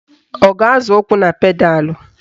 Ọ ga-azọ ụkwụ na pedalụ?